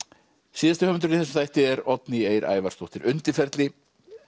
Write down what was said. síðasti höfundurinn í þessum þætti er Oddný Eir Ævarsdóttir undirferli